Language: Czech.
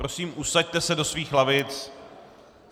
Prosím, usaďte se do svých lavic.